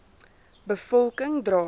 be volking dra